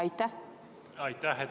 Aitäh!